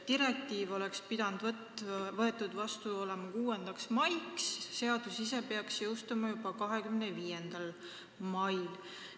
Direktiiv oleks pidanud olema vastu võetud 6. maiks, seadus ise peaks jõustuma 25. mail.